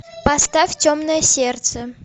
поставь темное сердце